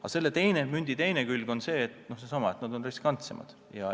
Aga selle mündi teine külg on seesama, et nad on riskantsemad.